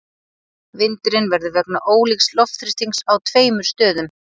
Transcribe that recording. Vindurinn verður vegna ólíks loftþrýstings á tveimur stöðum.